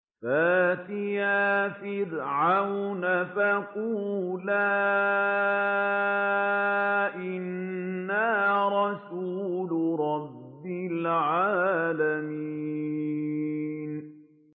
فَأْتِيَا فِرْعَوْنَ فَقُولَا إِنَّا رَسُولُ رَبِّ الْعَالَمِينَ